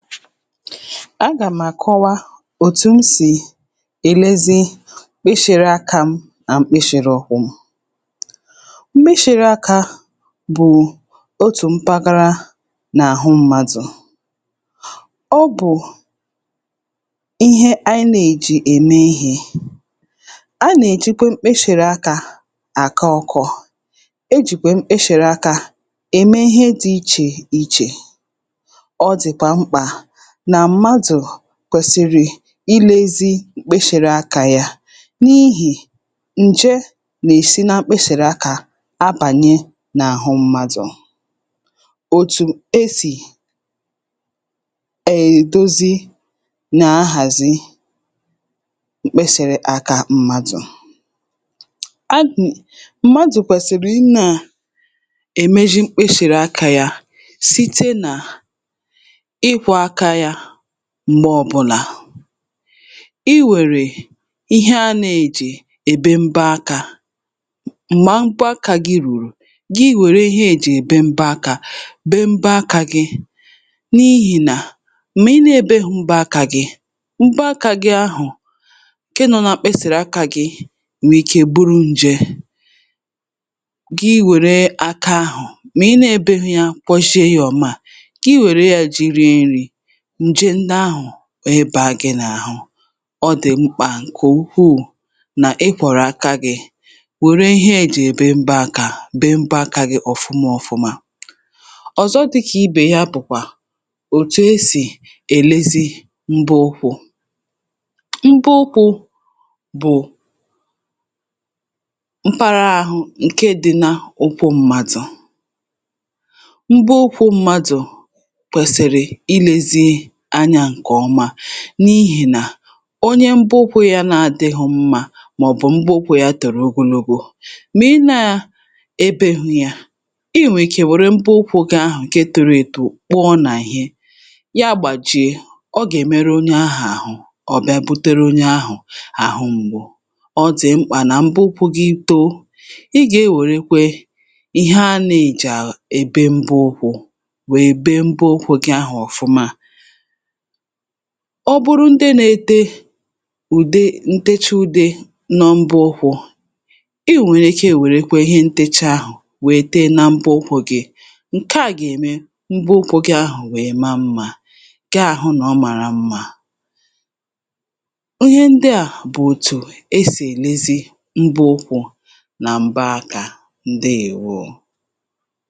Agà m̀ àkọwa òtù m sì èlezi kpịshị̄rị̄ akā m nà m̀kpịshị̄rị̄ ụkwụ̄ m. Mkpịshị̄rị̄ akā bụ̀ otù mpaghara n’àhụ mmadụ̀. Ọ bụ̀ ihe ànyị nèji ème ihē a nèjikwe mkpịshị̀rị akā àkọ ọkọ̄. E jìkwè mkpịshị̀ra akā ème ihe dị̄ ichè ichè, ọ dị̀kwà mkpà nà mmadụ̀ kwèsìrì ilēzī m̀kpishìra akā yā n’ihì ǹje nèsi nà mkpịshị̀ra akā nabànye n’àhụ mmadụ̀. Òtù esì èdozi nà nhàzị mkpịsị̀rị akā mmadụ̀ agà mmadụ̀ kwèsìrì ị nāā èmeʒi mkpịshị̀rị akā yā site nà ịkwọ̄ aka yā m̀gbọ ọbụlà, iwèrè ihe a nèje èbe mbe akā m̀mà mbọ akā gị̄ ruru gi wère ihe ejè èbe mbọ akā bee mba akā gị n’ihìnà m̀gbè ị nèbeghī mba akā gi mba akā gi ahụ̀ ke nọ̄ na mkpịsị̀rị akā gi nwèrè ike buru nje, gị wère aka ahụ̀ mị̀ ị nēbeghī ya kwọshe yē ọ̀mà gị nwère yā ji rie nri ǹje ndị ahụ̀ wèe bàa gị̄ n’àhụ, ọ dị̀ mkpà ǹkè ukwuu nà ịkwọ̀rọ̀ aka gị̄ wère ihe ejì èbe mba aka bee mba akā gị ọ̀fụma òfụma. Ọ̀zọ dị kị̀ ibè ya bụ̀kwà òtù esì èlezi mbụ ụkwụ̄ Mbụ ụkwụ̄ bụ̀ mpaghara ahụ ǹke dị n’ụkwụ m̀madụ̀. Mbụ ụkwụ̄ mmadụ̀ kwèsìrì ilēzi anya ǹkọ̀ọma n’ihìnà onye mbụ ụkwụ̄ ya nadịghị̄ mmā mọ̀bụ̀ mbụ ụkwụ̄ yā tòrò ogologo mà ị nāā ebeghū yā ị nwèrè ike wère mbụ ụkwụ̄ gị ahụ̀ ǹke toro eto kụọ na ihe ya gbàjie ọ gèmeru onye ahụ̀ àhụ ọ̀ bịa butere onye ahụ̀ àhụ mgbu ọ dị̀ mkpà nà mbụ ụkwụ̄ gị̄ too ị gè-enwèrekwe ihe a nējè èbe mbụ ụkwụ̄ wè bee mbụ ụkwụ̄ gị ahụ̀ ọ̀fụma. Ọ bụrụ ndị nētē ùde nteche ude n’ụbụ ụkwụ̄, ị nwèrè ike wère ihe ntēchē ahụ̀ wèe tee na mbụ ụkwụ̄ gị ǹke à gème mbụ ụkwụ̄ gị ahụ̀ wèe maa mmā gị àhụ nọ̀ ọ màrà mmā. Ihe ndị à bụ òtù esì èlezi mbụ ụkwụ̄ nà m̀ba akā. Ǹdeèwo